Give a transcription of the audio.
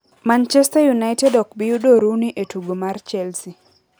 Manchester United ok bi yudo Rooney e tugo mar Chelsea